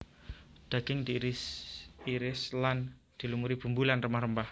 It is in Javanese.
Daging diiris iris lan dilumuri bumbu lan rempah rempah